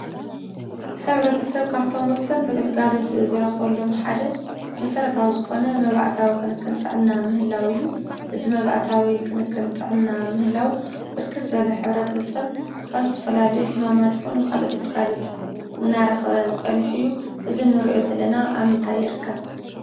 ሕብረተሰብ ካብ እቶም ወሰንቲ ግልጋሎት ዝረክበሎም ሓደ መሰረታዊ ዝኮነ መባእታዊ ክንክን ጥዕና ምህላው እዩ፡፡ እዚ መባእታዊ ክንክን ጥዕና ምህላው ብርክት ዝበለ ሕብረተሰብ ካብ ዝተፈላለዩ ሕማማት ይኩን ካልኦት ግልጋሎት እናረከበ ፀኒሑ እዩ፡፡ እዚ እንሪኦ ዘለና ኣብ ምንታይ ይርከብ?